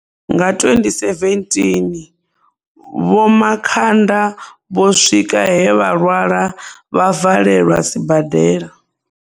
Nga 2017, Vho Makhanda vho swika he vha lwala vha valelwa sibadela.